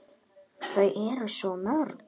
Eyþór: Þau eru svo mörg.